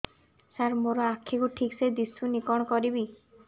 ସାର ମୋର ଆଖି କୁ ଠିକସେ ଦିଶୁନି କଣ କରିବି